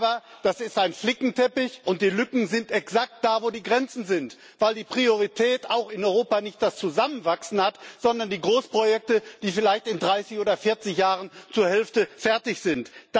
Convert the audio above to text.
Aber es ist ein Flickenteppich, und die Lücken sind exakt da, wo die Grenzen sind, weil in Europa nicht das Zusammenwachsen Priorität hat, sondern die Großprojekte, die vielleicht in 30 oder 40 Jahren zur Hälfte fertig sind.